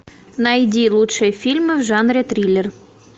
найди лучшие фильмы в жанре триллер